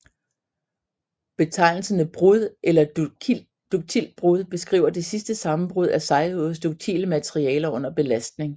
Betegnelserne brud eller duktilt brud beskriver det sidste sammenbrud af sejhed hos duktile materialer under belastning